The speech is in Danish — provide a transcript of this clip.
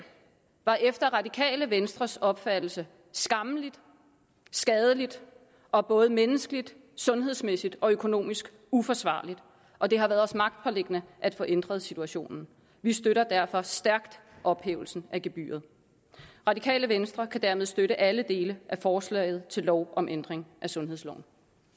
var efter radikale venstres opfattelse skammeligt skadeligt og både menneskeligt sundhedsmæssigt og økonomisk uforsvarligt og det har været os magtpåliggende at få ændret situationen vi støtter derfor stærkt ophævelsen af gebyret radikale venstre kan dermed støtte alle dele af forslaget til lov om ændring af sundhedsloven